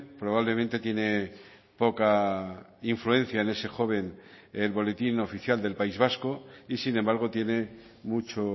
probablemente tiene poca influencia en ese joven el boletín oficial del país vasco y sin embargo tiene mucho